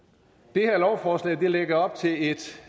det her lovforslag lægger op til et